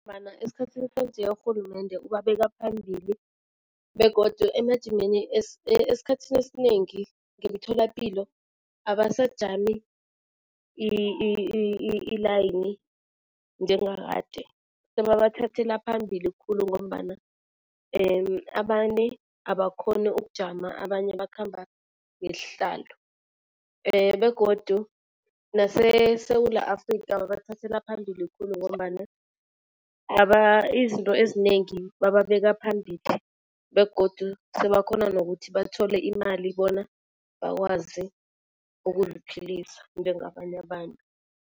Esikhathini sanje urhulumende ubabeka phambili begodu emajimeni esikhathini esinengi ngemtholapilo abasajami ilayini njengakade. Sebabathathela phambili khulu ngombana abakhoni ukujama, abanye bakhamba ngesihlalo. Begodu naseSewula Afrikha babathathela phambili khulu ngombana izinto ezinengi bababeka phambili begodu sebakhona nokuthi bathole imali bona bakwazi ukuziphilisa ngengabanye abantu.